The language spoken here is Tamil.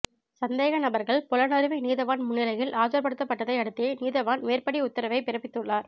சந்தேகநபர்கள் பொலனறுவை நீதவான் முன்னிலையில் ஆஜர்படுத்தப்பட்டதை அடுத்தே நீதவான் மேற்படி உத்தரவை பிறப்பித்துள்ளார்